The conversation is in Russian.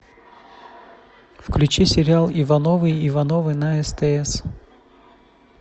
включи сериал ивановы ивановы на стс